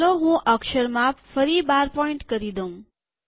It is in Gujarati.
ચાલો હું અક્ષર માપ ફરી ૧૨pt કરી દઉં